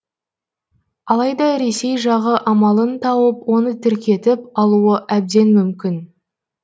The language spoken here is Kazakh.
алайда ресей жағы амалын тауып оны тіркетіп алуы әбден мүмкін